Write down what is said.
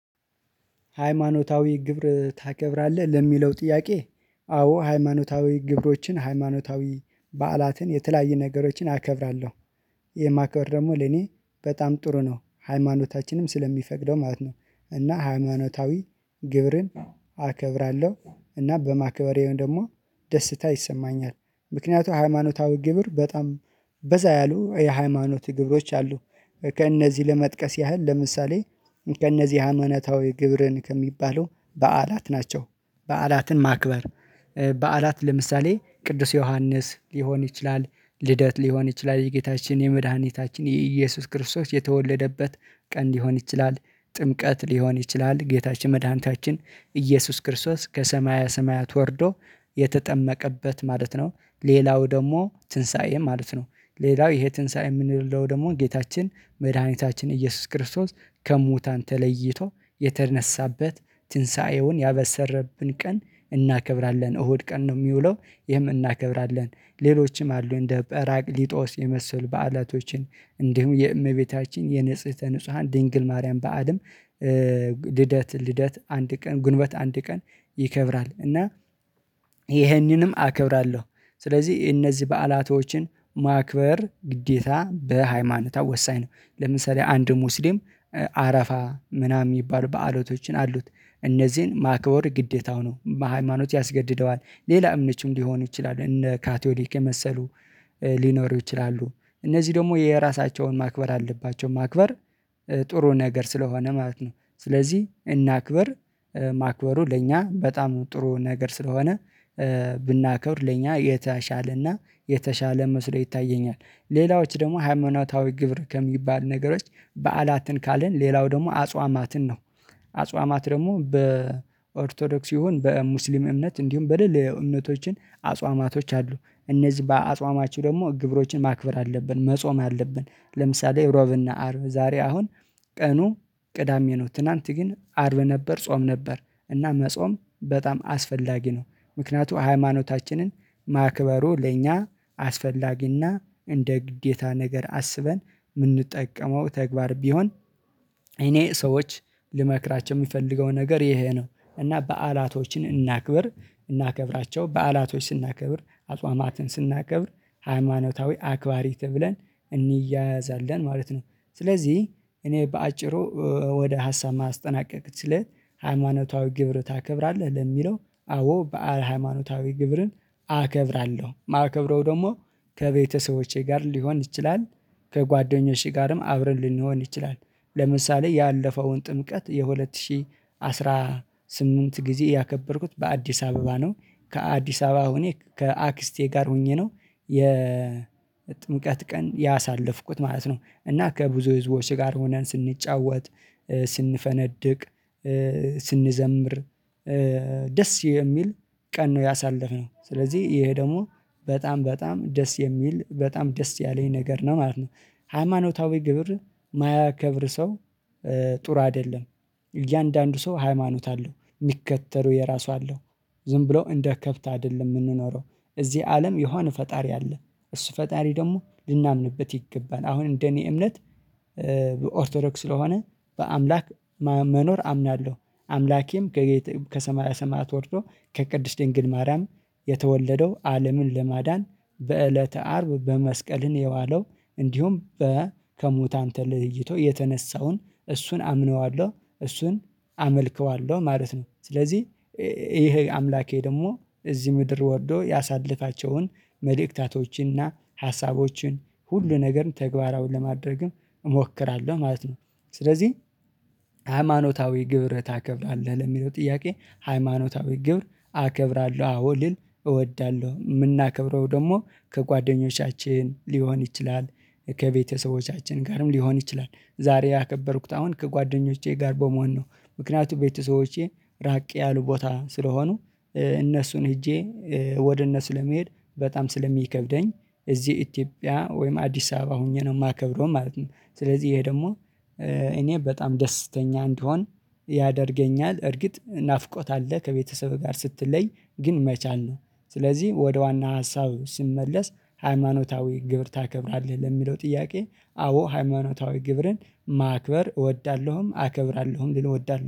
ሃይማኖታዊ ግብር ታከብራለህ ለሚለው ጥያቄ? አዎ ሃይማኖታዊ ግብሮችን ሃይማኖታዊ በዓላትን የተለያየ ነገሮችን አከብራለሁ። የማከብር ደግሞ ለኔ በጣም ጥሩ ነው ሃይማኖታችንም ስለሚፈቅደው ማለት ነው። እና ሃይማኖታዊ ግብርን አከብራለሁ እና በማክበረም ደግሞ ደስታ ይሰማኛል። ምክንያቱም ሃይማኖታዊ ግብር በጣም በዛ ያሉ የሃይማኖት ግብሮች አሉ። ከእነዚህ ለመጥቀስ ያህል ለምሳሌ ከእነዚህ ሃማኖታዊ ግብርን ከሚባለው በዓላት ናቸው። በዓላትን ማክበር በዓላት ለምሳሌ ቅዱስ ዮሐንስ ሊሆን ይችላል። ልደት ሊሆን ይችላል የጌታችን የመድኃኒታችን የኢየሱስ ክርስቶስ የተወለደበት ቀን ሊሆን ይችላል። ጥምቀት ሊሆን ይችላል ጌታችን መድኃኒታችን ኢየሱስ ክርስቶስ ከሰማያ ሰማያት ወርዶ የተጠመቀበት ማለት ነው። ሌላው ደግሞ ትንሳኤ ማለት ነው። ሌላው ይሄ ትንሳኤ የምንለው ደግሞ ጌታችን መድኃኒታችን ኢየሱስ ክርስቶስ ከሙታን ተለይቶ የተነሳበት ትንሳኤውን ያበሰረብን ቀን እናከብራለን እሁድ ቀን ነው የሚውለው ይህም እናከብራለን። ሌሎችም አሉ እንደ በራቅ ሊጦስ የመሰል በዓላቶችን እንዲሁም የእመቤታችን የንጽህተ ንጹሃን ድንግል ማርያም በዓልም። ልደት ልደት አንድ ቀን ጉንበት አንድ ቀን ይከብራል እና ይሄንንም አከብራለሁ። ስለዚህ እነዚህ በዓላቶችን ማክበር ግዴታ በሃይማኖታው ወሳኝ ነው። ለምሳሌ አንድ ሙስሊም አረፋ ምናምን የሚባሉ በዓሎቶችን አሉት። እነዚህን ማክበር ግዴታው ነው። ሃይማኖት ያስገድደዋል ሌላ እምነችም ሊሆን ይችላል እነ ካቶሊክ የመሰሉ ሊኖሩ ይችላሉ። እነዚህ ደግሞ የራሳቸውን ማክበር አለባቸው ማክበር ጥሩ ነገር ስለሆነ ማለት ነው። ስለዚህ እናክበር ማክበሩ ለእኛ በጣም ጥሩ ነገር ስለሆነ። ብናከብር ለእኛ የተሻለና የተሻለ መስለው ይታየኛል። ሌላዎች ደግሞ ሃይማኖታዊ ግብር ከሚባል ነገሮች በዓላትን ካለን ሌላው ደግሞ አጽዋማትን ነው። አጽዋማት ደግሞ በኦርቶዶክስ ይሁን በሙስሊም እምነት እንዲሁም በደለዮ እምነቶችን አጽዋማቶች አሉ። እነዚህ በአጽዋማችሁ ደግሞ ግብሮችን ማክበር አለብን መጾም አለብን። ለምሳሌ ሮብና አርብ ዛሬ አሁን ቀኑ ቅዳሜ ነው ትናንት ግን አርብ ነበር ጾም ነበር እና መጾም በጣም አስፈላጊ ነው። ምክንያቱም ሃይማኖታችንን ማክበሩ ለእኛ አስፈላጊና እንደ ግዴታ ነገር አስበን የምንጠቀመው ተግባር ቢሆን። እኔ ሰዎች ልመክራቸው የሚፈልገው ነገር ይሄ ነው። እና በዓላቶችን እናክብር እናከብራቸው በዓላቶች ስናከብር አጽዋማትን ስናከብር ሃይማኖታዊ አክባሪ ተብለን እንያያዛለን ማለት ነው። ስለዚህ እኔ በአጭሩ ወደ ሀሳብ ማስጠናቀቅ ስለ ሃይማኖታዊ ግብር ታከብራለህ ለሚለው? አዎ በዓል ሃይማኖታዊ ግብርን አከብራለሁ ማከብረው ደግሞ ከቤተሰቦቼ ጋር ሊሆን ይችላል። ከጓደኞቼ ጋርም አብረን ልንሆን ይችላል። ለምሳሌ ያለፈውን ጥምቀት የሁለት ሺህ አስራ ስምንት ጊዜ ያከበርኩት በአዲስ አበባ ነው። ከአዲስ አበባ አሁኔ ከአክስቴ ጋር ሆኜ ነው የጥምቀት ቀን ያሳለፍኩት ማለት ነው። እና ከብዙ ህዝቦች ጋር ሆነን ስንጫወት ስንፈነድቅ ስንዘምር ደስ የሚል ቀን ነው። ያሳለፍነው ስለዚህ ይሄ ደግሞ በጣም በጣም ደስ የሚል በጣም ደስ ያለኝ ነገር ነው ማለት ነው። ሃይማኖታዊ ግብር የማያከብር ሰው ጥሩ አይደለም። እያንዳንዱ ሰው ሃይማኖት አለው የሚከተሉ የራሱ አለው። ዝም ብሎ እንደ ከብት አይደለም የምንኖረው። እዚህ አለም የሆነ ፈጣሪ አለ። እሱ ፈጣሪ ደግሞ ልናምንበት ይገባል አሁን እንደኔ እምነት በኦርቶዶክስ ስለሆነ በአምላክ መኖር አምናለሁ። አምላኬም ከሰማያ ሰማያት ወርዶ ከቅድስት ድንግል ማርያም የተወለደው አለምን ለማዳን በእለተ አርብ በመስቀልን የዋለው እንዲሁም በ ከሙታ ተለይቶ የተነሳውን እሱን አምነዋለሁ እሱን አመልክዋለሁ ማለት ነው። ስለዚህ ይሄ አምላኬ ደግሞ እዚህ ምድር ወርዶ ያሳልፋቸውን መልእክታቶችን ሀሳቦችን ሁሉ ነገርን ተግባራውን ለማድረግም እሞክራለሁ ማለት ነው። ስለዚህ ሃይማኖታዊ ግብር ታከብራለህ ለሚለው ጥያቄ? ሃይማኖታዊ ግብር አከብራለሁ አዎ ልል እወዳለሁ። የምናከብረው ደግሞ ከጓደኞቻችን ሊሆን ይችላል። ከቤተሰቦቻችን ጋርም ሊሆን ይችላል ዛሬ ያከበርኩት አሁን ከጓደኞቼ ጋር በመሆን ነው። ምክንያቱም ቤተሰቦቼ ራቅ ያሉ ቦታ ስለሆኑ። እነሱን ሄጄ ወደ እነሱ ለመሄድ በጣም ስለሚከብደኝ። እዚህ ኢትዮጵያ ወይም አዲስ አበባ ሆኜ ነው የማከብደው ማለት ነው። ስለዚህ ይሄ ደግሞ እኔ በጣም ደስተኛ እንድሆን ያደርገኛል። እርግጥ ናፍቆት አለ ከቤተሰብህ ጋር ስትለይ ግን መቻል ነው። ስለዚህ ወደ ዋና ሀሳብ ስመለስ ሃይማኖታዊ ግብር ታከብራለህ ለሚለው ጥያቄ? አዎ ሃይማኖታዊ ግብርን ማክበር እወዳለሁም አከብራለሁም ልል እወዳለሁ